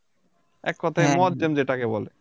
এককথায় মোয়াজ্জেম যেটাকে বলে